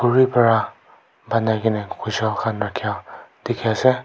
khuri para banai geynay kojal khan rakhia dikhi ase.